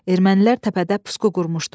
Ermənilər təpədə pusqu qurmuşdu.